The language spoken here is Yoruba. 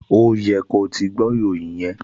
Ó yẹ ko ti gbọ́ ìròyìn yẹn!